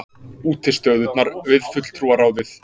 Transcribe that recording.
Útistöðurnar við Fulltrúaráðið!